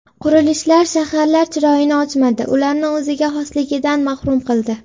Qurilishlar shaharlar chiroyini ochmadi, ularni o‘ziga xosligidan mahrum qildi.